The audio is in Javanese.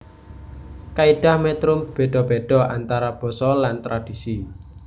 Kaidah metrum beda beda antara basa lan tradhisi